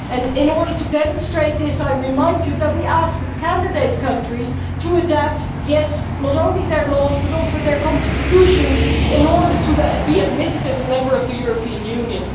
In order to demonstrate this, I remind you that we ask candidate countries to adapt not only their laws but also their constitutions in order to be admitted as members of the European Union.